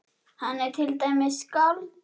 Hann er til dæmis skáld.